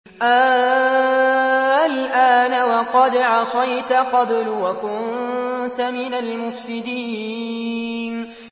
آلْآنَ وَقَدْ عَصَيْتَ قَبْلُ وَكُنتَ مِنَ الْمُفْسِدِينَ